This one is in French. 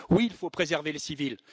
Oui, il faut préserver les civils.